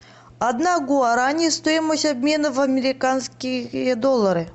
одна гуарани стоимость обмена в американские доллары